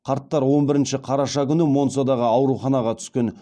қарттар он бірінші қараша күні монцадағы ауруханаға түскен